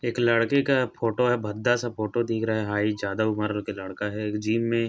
एक लड़के का फोटो है भद्दा सा फोटो दिख रहा है ज्यादा उम्र का लड़का है जिम में--